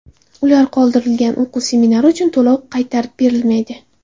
Ular qoldirilgan o‘quv semestri uchun to‘lov qaytarib berilmaydi.